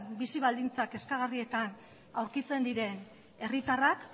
bizi baldintza kezkagarrietan aurkitzen diren herritarrak